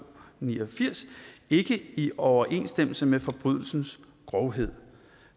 ni og firs ikke i overensstemmelse med forbrydelsens grovhed